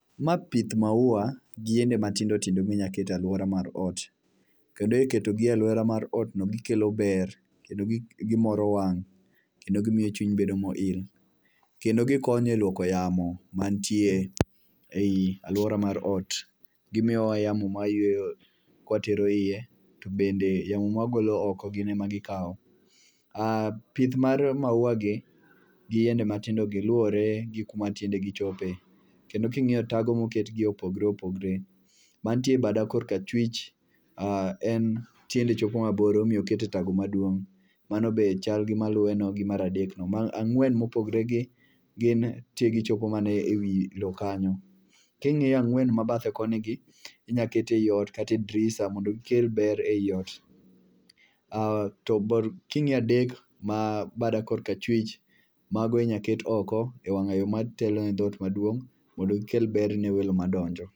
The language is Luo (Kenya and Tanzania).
ma pith maua gi yiende matindo tindo minyalo ket e aluora mar ot kendo ikwto gi e aluora mar otno gikelo ber kendo gimoro wang' kendo gimiyo chuny bedo mo il kendo gikonyo e luoko e yamo mantie ei aluora mar ot gimiyo wa yamo mwa yueyo kwa tero iye to bende yamo mwa golo oko gin ema gikawo,a pith mar maua gi gi yiende matindo gi luwore gi kuma tiende chope kendo kingiyo tago moket gie opogore opogore mantie bado korcka chwich en tiende chopo mabor ema omiyo okete e tago maduong' mano be chal gi maluweno gi mar adek no ,mar angwen mopogre gin tiegi chopo mana ewi lo kanyo, kingiyo angwen mabadhe koni gi inya keti ei ot kata e dirisha mondo gikel ber ei ot,a to kingiyo adek mabada kor ka chwich, mago inyalo ket oko e wanga yo matelo ne dhoot maduong' mondo gikel ber ne welo madonjo.